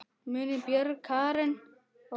Munið Björg, Karen og Katrín.